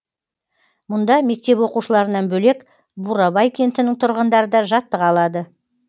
мұнда мектеп оқушыларынан бөлек бурабай кентінің тұрғындары да жаттыға алады